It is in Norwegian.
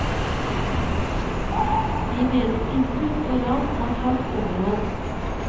De mener innbrudd og ran har tatt overhånd.